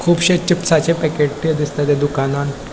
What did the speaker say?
कुबशे चिप्स चे पॅकेट ते दिसता त्या दुकानान --